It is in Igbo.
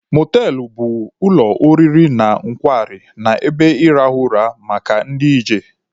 Mọtelụ bụ ụlọ oriri na nkwari na ebe ịrahụ ụra maka ndị ije.